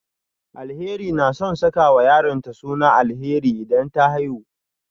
Alheri na son sakawa yaronta suna Alheri idan ta haihu